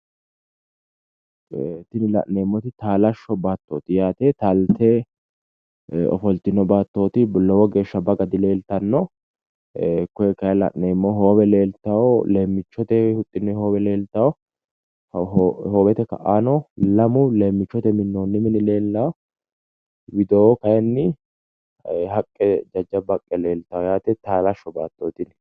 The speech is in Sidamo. Tini la'neemmoti taalashsho battooti yaate. Taalte ofoltino baattooti. Lowo geeshsha baga dileeltanno. Koye kayi la'neemmohu hoowe leeltaayo leemmichote huxxinoye hoowe leeltayo hoowete ka'aano lamu leemmiichote minnoonni mini leellayo. Widoo kayinni haqqe jajjabba haaqqe leeltayo yaate taalashsho baattooti.